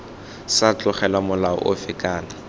sa tlogelwa molao ofe kana